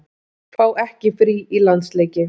Fá ekki frí í landsleiki